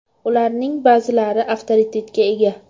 Ularning ba’zilari avtoritetga ega.